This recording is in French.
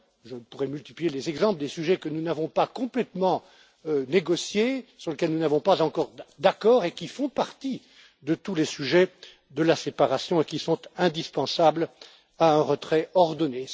Je pourrais multiplier les exemples des sujets que nous n'avons pas complètement négociés, sur lesquels nous n'avons pas encore d'accord, lesquels font partie de tous les sujets de la séparation et qui sont indispensables à un retrait ordonné.